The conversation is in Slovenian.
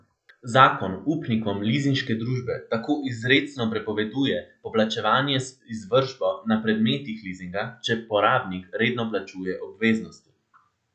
Zakon upnikom lizinške družbe tako izrecno prepoveduje poplačevanje z izvršbo na predmetih lizinga, če porabnik redno plačuje obveznosti.